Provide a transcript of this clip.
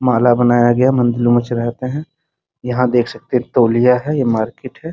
माला बनाया गया है मंदिरों में चढ़ाते हैं यहाँ देख सकते हैं तौलिया है ये मार्केट है।